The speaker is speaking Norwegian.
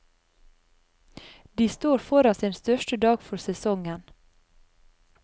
De står foran sin største dag for sesongen.